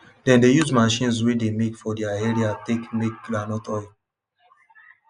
dem dey use machines wey de make for their area take make groundnut oil